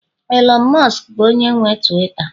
Elon musk bụ onye nwe Tuwiita